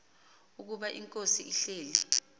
ukuba inkosi ihleli